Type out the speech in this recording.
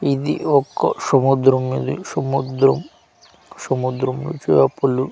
ఇది ఒక్క సముద్రం ఇది సముద్రం సముద్రం చేపలు